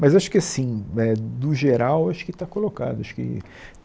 Mas acho que assim, eh do geral, acho que está colocado acho que...